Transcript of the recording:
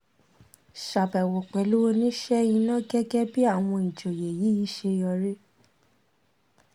ṣàbẹ́wò pẹ̀lú oníṣe iná gẹ́gẹ́ bí àwọn ìjọ́yé yìí ṣe yọrí